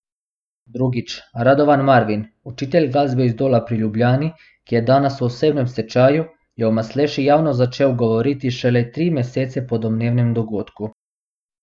Drugič, Radovan Marvin, učitelj glasbe iz Dola pri Ljubljani, ki je danes v osebnem stečaju, je o Masleši javno začel govoriti šele tri mesece po domnevnem dogodku.